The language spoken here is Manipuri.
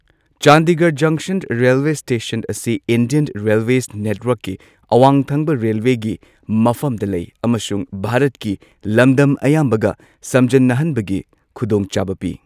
ꯆꯥꯟꯗꯤꯒꯔ ꯖꯪꯁꯟ ꯔꯦꯜꯋꯦ ꯁ꯭ꯇꯦꯁꯟ ꯑꯁꯤ ꯏꯟꯗꯤꯌꯟ ꯔꯦꯜꯋꯦꯁ ꯅꯦꯠꯋꯥꯔꯛꯀꯤ ꯑꯋꯥꯡ ꯊꯪꯕ ꯔꯦꯜꯋꯦꯒꯤ ꯃꯐꯝꯗ ꯂꯩ ꯑꯃꯁꯨꯡ ꯚꯥꯔꯠꯀꯤ ꯂꯝꯗꯝ ꯑꯌꯥꯝꯕꯒ ꯁꯝꯖꯟꯅꯍꯟꯕꯒꯤ ꯈꯨꯗꯣꯡꯆꯥꯕ ꯄꯤ꯫